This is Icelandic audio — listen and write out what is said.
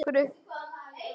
Margir göptu yfir þessu